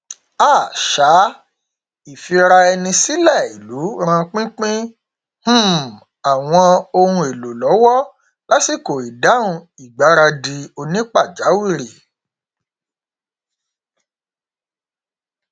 um um ìfiraẹnisílẹ ìlú ran pínpín um àwọn ohun èlò lọwọ lásìkò ìdáhùn ìgbaradì onípàjáwìrì